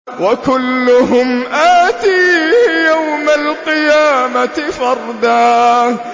وَكُلُّهُمْ آتِيهِ يَوْمَ الْقِيَامَةِ فَرْدًا